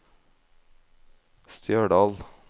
Stjørdal